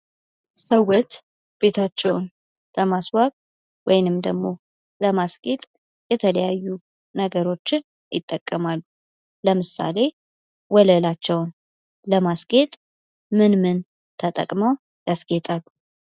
ሰዎች ቤታቸውን ለማስዋብ ወይንም ደሞ ለማስጌጥ የተለያዩ ነገሮችን ይጠቀማል ለምሳሌ ወለላቸውን ለማስጌጥ ምን ምን ተጠቅመው ያስጌጣሉ?